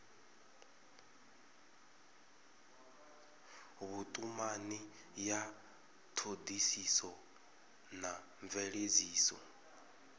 vhutumani ya thodisiso na mveledziso